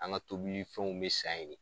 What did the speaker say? An ga tobili fɛnw be san yen ne